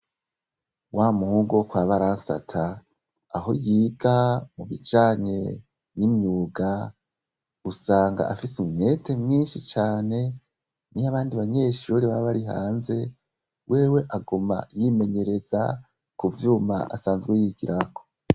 Wamuhungu wokwa Baransata aho yiga mubijanye n'imyuga usanga afise umwete mwinshi cane niyo abandi banyeshure bari hanze wewe aguma yimenyereza kuvyuma asanzwe yigirako.